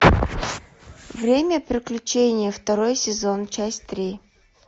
время приключений второй сезон часть три